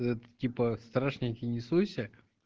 это типа страшненький не суйся